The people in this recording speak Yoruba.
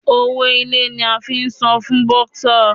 Owó ilé ní a ti san fún bọ́sà.